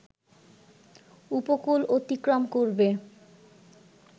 উপকূল অতিক্রম করবে